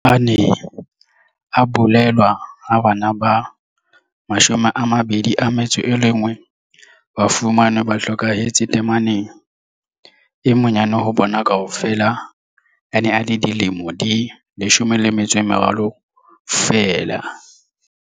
A ne a bolellwe ha bana ba 21 ba fumanwe ba hlokahetse tameneng. E monyane ho bona kaofela o ne a le dilemo di 13 feela.